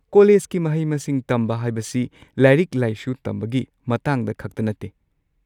ꯀꯣꯂꯦꯖꯀꯤ ꯃꯍꯩ-ꯃꯁꯤꯡ ꯇꯝꯕ ꯍꯥꯏꯕꯁꯤ ꯂꯥꯏꯔꯤꯛ-ꯂꯥꯏꯁꯨ ꯇꯝꯕꯒꯤ ꯃꯇꯥꯡꯗ ꯈꯛꯇ ꯅꯠꯇꯦ꯫